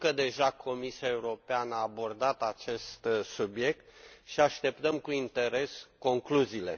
Știu că Comisia Europeană a abordat deja acest subiect și așteptăm cu interes concluziile.